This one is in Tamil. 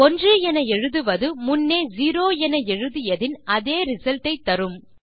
1 என எழுதுவது முன்னே 0 என எழுதியதின் அதே ரிசல்ட் ஐ தரும்